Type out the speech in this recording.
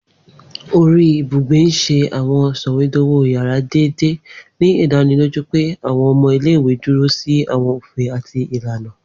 Ori ibugbe n ṣe àwọn sọwedowo yárà deede, ni idaniloju pe àwọn ọmọ ile-iwe duro si àwọn ofin ati ilana.